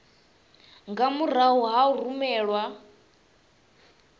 nga murahu ha u rumelwa